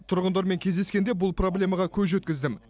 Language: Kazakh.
тұрғындармен кездескенде бұл проблемаға көз жеткіздім